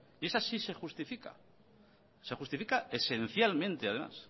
y esa sí se justifica se justifica esencialmente además